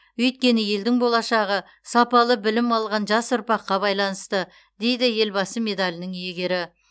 өйткені елдің болашағы сапалы білім алған жас ұрпаққа байланысты дейді елбасы медалінің иегері